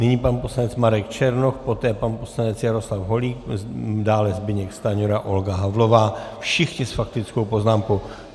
Nyní pan poslanec Marek Černoch, poté pan poslanec Jaroslav Holík, dále Zbyněk Stanjura, Olga Havlová - všichni s faktickou poznámkou.